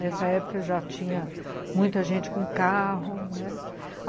Nessa época já tinha muita gente com carro, né?